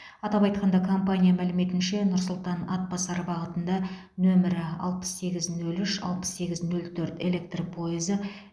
атап айтқанда компания мәліметінше нұр сұлтан атбасар бағытында нөмірі алпыс сегіз нөл үш алпыс сегіз нөл төрт электр пойызы